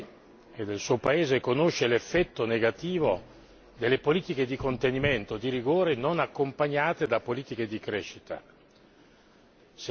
Nessuno meglio di lei e del suo paese conosce l'effetto negativo delle politiche di contenimento e di rigore non accompagnate da politiche di crescita.